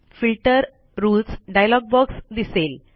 filter rules dialog box दिसेल